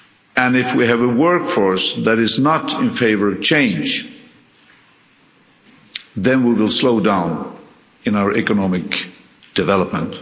And if we have a workforce that is not in favour of change, then we will slow down in our economic development.